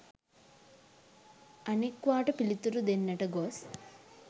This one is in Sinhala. අනෙක්වාට පිළිතුරු දෙන්නට ගොස්